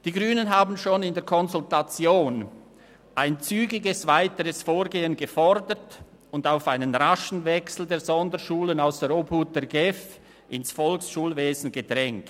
Die Grünen haben schon in der Konsultation ein zügiges weiteres Vorgehen gefordert und auf einen raschen Wechsel der Sonderschulen aus der Obhut der GEF ins Volksschulwesen gedrängt.